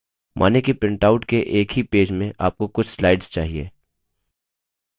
मानिए कि printout के एक ही पेज में आपको कुछ slides चाहिए